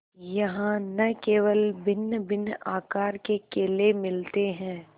यहाँ न केवल भिन्नभिन्न आकार के केले मिलते हैं